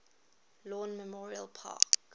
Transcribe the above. lawn memorial park